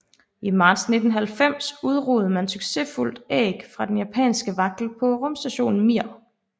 I marts 1990 udrugede man succesfuldt æg fra den japanske vagtel på rumstationen Mir